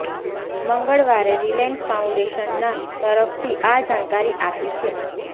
મંગળવારે Reliance foundation ના તરફથી આ જાણકારી આપી છે